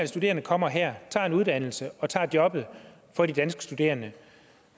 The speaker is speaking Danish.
studerende kommer her tager en uddannelse og tager jobbet fra de danske studerende